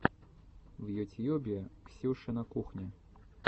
в ютьюбе ксюшина кухня